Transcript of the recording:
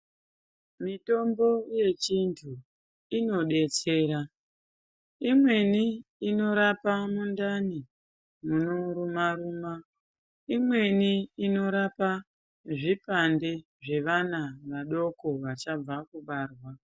Mitombo yechiantu inodetsera. Imweni inorapa mundani munoruma ruma, imweni inorape zvipande zvevana vadoko vachabva kubarwa.